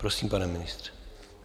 Prosím, pane ministře.